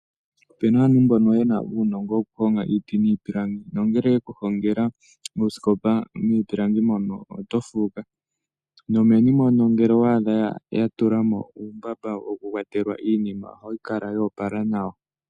Ope na aantu mbono ye na uunongo wokuhonga iiti niipilangi, nongele ye ku hongela oosikopa miipilangi mono, oto fuuka. Nomeni mono ngele owa adha ya tula mo uumbaba wokukwatelwa iinima, ohayi kala yo opala nawa.